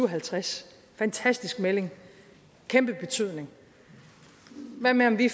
halvtreds fantastisk melding kæmpe betydning hvad med at vi